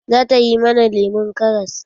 Zata yi mana lemon karas.